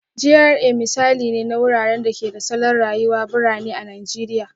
GRA misali ne na wuraren da ke da salon rayuwar birane a Najeriya